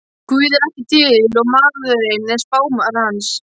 Guð er ekki til og maðurinn er spámaður hans.